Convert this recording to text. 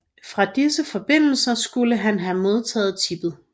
Fra disse forbindelser skulle han have modtaget tippet